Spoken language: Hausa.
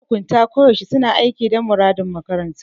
Mahukunta ko da yaushe suna aiki dan muradin makaranta.